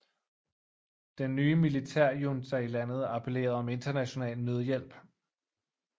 Den nye militærjunta i landet appellerede om international nødhjælp